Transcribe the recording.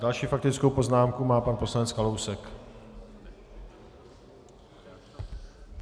Další faktickou poznámku má pan poslanec Kalousek.